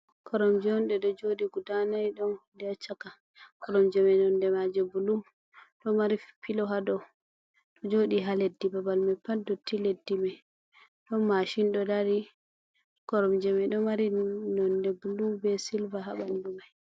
Koromji ɗo jooɗi gudaa nayi, ɗon hude ha caka, koromji man nonde maaji bulu, ɗo mari pilo ha dow, jooɗi ha leddi, babal mai pat dotti, leddi mai, ɗon maashin ɗo dari. Koromji mai ɗo mari nonde bulu bee silva ha ɓanndu mai.